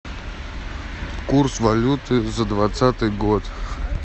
курс валюты за двадцатый год